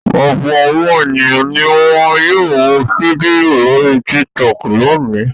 Ọ̀pọ̀ àwọn ènìyàn ni wọn yóò wo fídíò lórí Tiktok lónìí.